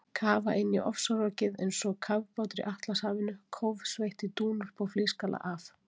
Kafa inn í ofsarokið eins og kafbátur í Atlantshafinu, kófsveitt í dúnúlpu og flísgalla af